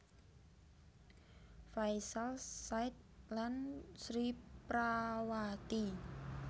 Faisal Said lan Sri Prawati